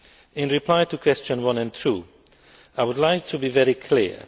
In reply to questions 1 and 2, I would like to be very clear.